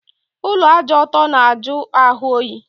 Ụlọ ájá ọtọ na ajụ ahụ oyi